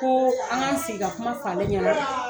Ko an ka sigi ka kuma f'alen ɲɛna.